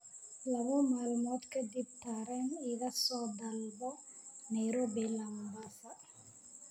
laba maalmood ka dib tareen iga soo dalbo nairobi ilaa mombasa